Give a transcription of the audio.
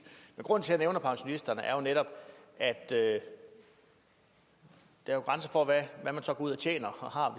men grunden til at jeg nævner pensionisterne er netop at der jo er grænser for hvad man så går ud og tjener og har